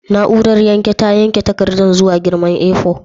Na'urar yanke ta yanke takardar zuwa girman A4?